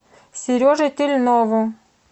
сереже тельнову